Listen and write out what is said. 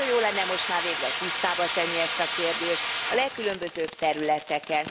Nagyon jó lenne most már végre tisztába tenni ezt a kérdést a legkülönbözőbb területeken.